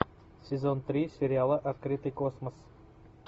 сезон три сериала открытый космос